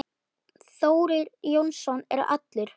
Þórir Jónsson er allur.